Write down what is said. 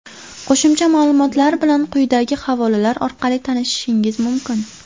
Qo‘shimcha ma’lumotlar bilan quyidagi havolalar orqali tanishishingiz mumkin.